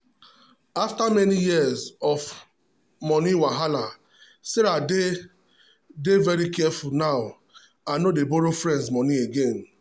after many years of money wahala sarah dey dey very careful now and no dey borrow friends money again.